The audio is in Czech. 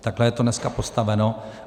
Takhle je to dneska postaveno.